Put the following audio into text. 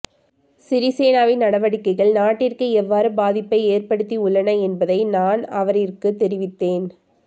சிறிசேனவின் நடவடிக்கைகள் நாட்டிற்கு எவ்வாறு பாதிப்பை ஏற்படுத்தியுள்ளன என்பதை நான் அவரிற்கு தெரிவித்தேன்